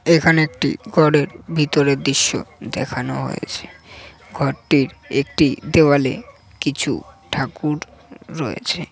এখানে একটি ঘর এর ভেতরের দৃশ্য দেখানো হয়েছে ঘরটির একটি দেওয়ালে কিছু ঠাকুর রয়েছে।